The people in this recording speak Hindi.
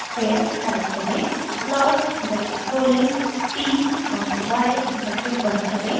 फिर टाइप करें plot ब्रैकेट खोलें t कॉमा y ब्रैकेट बंद करें